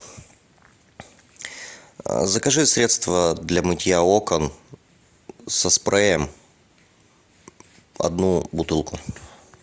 закажи средство для мытья окон со спреем одну бутылку